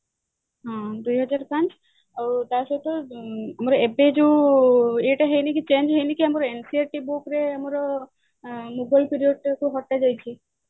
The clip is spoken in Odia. ହୁଁ ଆଉ ଦୁଇହଜାର ପାଞ୍ଚ ଆଉ ତା ସହିତ ଏବେ ଯୋଉ ଏଇଟା ହେଇନି କି change ହେଇନି କି ଆମର NCERT book ରେ ଆମର Mughal period ଟାକୁ ହଟା ଯାଇଛି